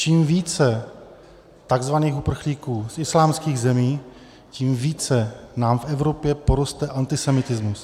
Čím více tzv. uprchlíků z islámských zemí, tím více nám v Evropě poroste antisemitismus.